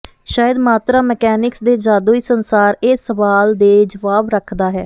ਸ਼ਾਇਦ ਮਾਤਰਾ ਮਕੈਨਿਕਸ ਦੇ ਜਾਦੂਈ ਸੰਸਾਰ ਇਹ ਸਵਾਲ ਦੇ ਜਵਾਬ ਰੱਖਦਾ ਹੈ